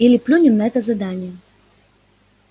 или плюнем на это задание